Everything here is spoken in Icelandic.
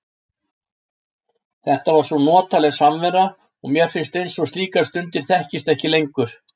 Þetta var svo notaleg samvera og mér finnst eins og slíkar stundir þekkist ekki lengur.